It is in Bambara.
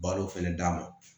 Balo fɛnɛ d'a ma